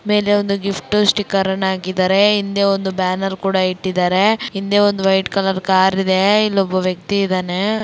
ಮೇಲೆ ಒಂದು gift sticker ಅನ್ನು ಹಾಕಿದರೆ ಹಿಂದೆ ಒಂದು ಬ್ಯಾನರ್ ಕೂಡ ಇಟ್ಟಿದ್ದಾರೆ ಹಿಂದೆ ಒಂದುವೈಟ್ ಕಲರ್ ಕಾರಿದೆ ಇಲ್ಲಿ ಒಬ್ಬ ವ್ಯಕ್ತಿ ಇದ್ದಾನೆ.